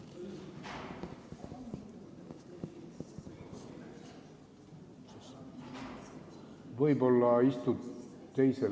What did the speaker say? Võib-olla istud teisele kohale.